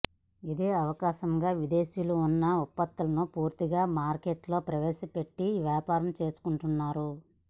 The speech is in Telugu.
ఇదే అవకాశంగా విదేశీయులు వారి ఉత్పత్తులను పూర్తిగా మార్కెట్లో ప్రవేశపెట్టి వ్యాపారం చేసుకొంటున్నారు